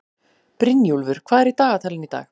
Brynjúlfur, hvað er í dagatalinu í dag?